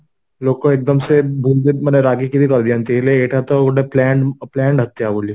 ଲୋକତ ଏକଦମସେ ବହୁତ ବହୁତ ମାନେ ରାଗିକି ବି କରିଯାନ୍ତି ହେଲେ ଏଟା ଗୋଟେ planned ହତ୍ୟା ବୋଲି